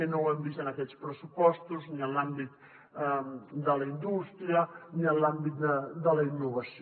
i no ho hem vist en aquests pressupostos ni en l’àmbit de la indústria ni en l’àmbit de la innovació